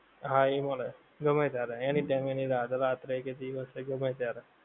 હા ઈ મળે ગમે ત્યારે એ નહીં કે અતિયારે રાત્રે કે દિવસ હોએ ગમ્મે ત્યારે